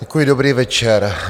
Děkuji, dobrý večer.